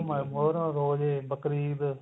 ਰੋਜੇ Bakrid